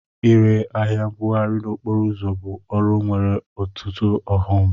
Ire ahịa mbugharị n'okporo ụzọ bụ ọrụ nwere ọtụtụ ọghọm.